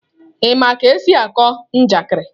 Ị ma ka esi akọ njakịrị?